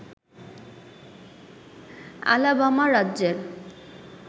Alabama রাজ্যের